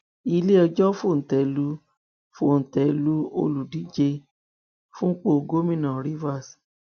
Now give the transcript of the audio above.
iléẹjọ fòńté lu fòńté lu olùdíje fúnpọ gómìnà rivers